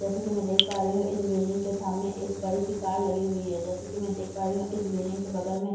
जैसा कि मैं देख पा रही हूं इस बिल्डिंग के सामने एक बड़ी सी कार लगी हुई है जैसे कि मैं देख पा रही हूं इस बिल्डिंग के बगल में --